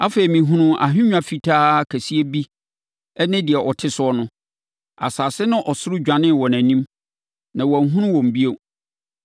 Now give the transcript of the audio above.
Afei, mehunuu ahennwa fitaa kɛseɛ bi ne deɛ ɔte so no. Asase ne ɔsoro dwanee wɔ nʼanim, na wɔanhunu wɔn bio.